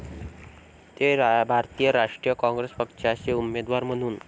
ते भारतीय राष्ट्रीय काँग्रेस पक्षाचे उमेदवार म्हणून ।.